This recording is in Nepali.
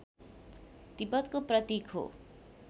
तिब्बतको प्रतीक हो